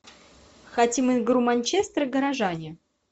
хотим игру манчестер горожане